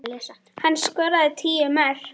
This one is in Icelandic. Hann skoraði tíu mörk.